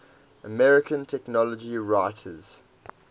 american technology writers